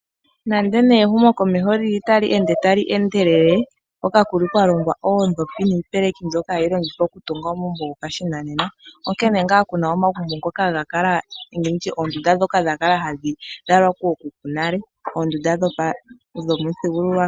Nande ne ehumo komeho otali ende tali endelele, hoka kuli kwalongwa oodhopi nipeleki mbyoka hayi longithwa okutunga omagumbo ngopashinanena, onkene nga Kuna omagumbo ngoka ngakala nenge nditye ondunda dhoka dhakala hadhilalwa kokuku nale ondunda dhomi thingululwa kalo.